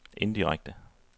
indirekte